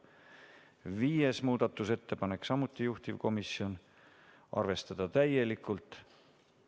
5. muudatusettepanek, samuti juhtivkomisjon, arvestada täielikult.